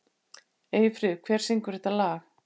Eyfríður, hver syngur þetta lag?